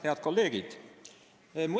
Head kolleegid!